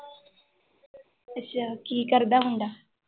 ਅੱਛਾ ਕੀ ਕਰਦਾ ਮੁੰਡਾ